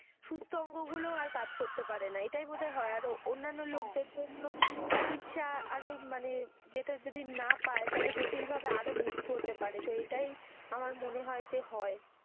সুস্থ অঙ্গ গুলোও আর কাজ করতে পারে না এটাই বোধহয় হয় আর অন্যান্য লোকদের জন্য চিকিৎসা আরো মানে যেটা যদি না পায় তাহলে জটিল ভাবে আরো মৃত্যু হতে পারে এটাই আমার মনে হয় যে হয়.